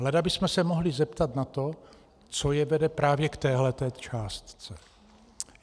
Leda bychom se mohli zeptat na to, co je vede právě k téhle částce.